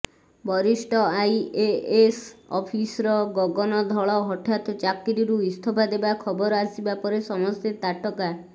ବରିଷ୍ଠ IAS officer Gagan Dhal ହଠାତ୍ ଚାକିରିରୁ ଇସ୍ତଫା ଦେବା ଖବର ଆସିବା ପରେ ସମସ୍ତେ ତାଟକା